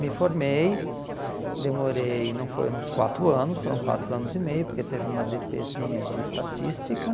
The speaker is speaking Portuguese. Me formei, demorei, não foram os quatro anos, foram quatro anos e meio, porque teve uma dê pê zinha de estatística.